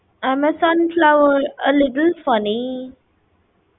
I am a sunflower, a little funny